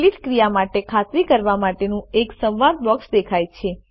delete ક્રિયા માટે ખાતરી કરવા માટેનું એક સંવાદ બોક્સ દેખાય છે